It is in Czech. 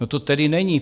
No, to tedy není.